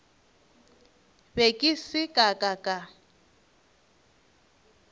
be ke se ka ka